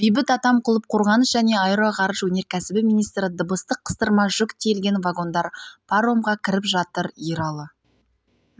бейбіт атамқұлов қорғаныс және аэроғарыш өнеркәсібі министрі дыбыстық қыстырма жүк тиелген вагондар паромға кіріп жатыр ералы